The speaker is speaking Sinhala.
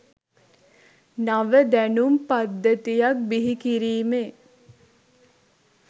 නව දැනුම් පද්ධතියක් බිහි කිරීමේ